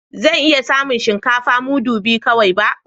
Zan iya samun shinkafa mudu biyu kawai ba